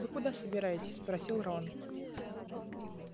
вы куда-то собираетесь спросил рон